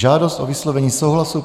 Žádost o vyslovení souhlasu